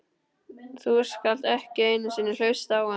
Þú skalt ekki einu sinni hlusta á hann.